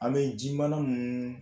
A bɛ ji mana mun